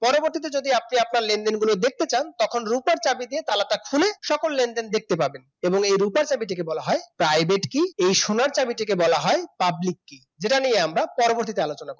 পরবর্তীতে যদি আপনি আপনার লেনদেন গুলো দেখতে চান তখন রুপার চাবি দিয়ে তালা টা খুলে সকল লেনদেন দেখতে পাবেন এবং এই রুপার চাবিটিকে বলা হয় private key এই সোনার সোনার চাবিটিকে বলা হয় public key যেটা নিয়ে আমরা পরবর্তীতে আলোচনা করব